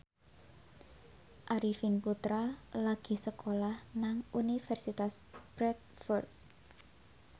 Arifin Putra lagi sekolah nang Universitas Bradford